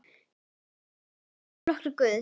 Flokkur Guðs?